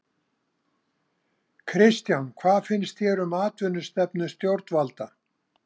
Kristján: Hvað finnst þér um atvinnustefnu stjórnvalda?